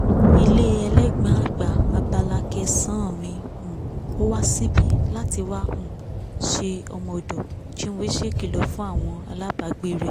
ilé elégbọ̀n-ọn àgbà abala kẹsàn-á mi um ò wá síbi láti wá um ṣe ọmọ-ọ̀dọ̀ chinwe ṣèkìlọ̀ fún àwọn alábàágbé rẹ̀